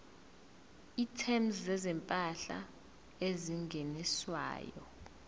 items zezimpahla ezingeniswayo